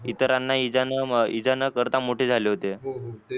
इतराना इजा इजा न करता मोठे झाले होते.